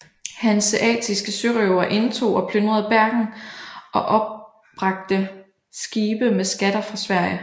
Hanseatiske sørøvere indtog og plyndrede Bergen og opbragte skibe med skatter fra Sverige